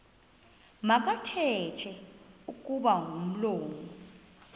makathethe kuba umlomo